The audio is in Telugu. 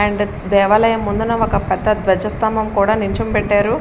అండ్ దేవాలయం ముందున ఒక పెద్ద ద్వజ స్తంభం కూడా నుంచుం పెట్టారు --